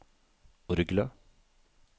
orgelet